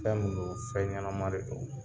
Fɛn min non fɛn ɲɛnama re don